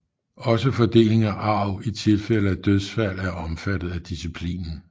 Også fordeling af arv i tilfælde af dødsfald er omfattet af disciplinen